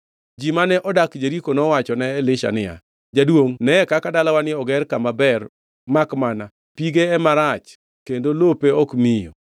Ji mane odak Jeriko nowachone Elisha niya, “Jaduongʼ neye kaka dalawani oger kama ber, makmana pige ema rach kendo lope ok miyo.”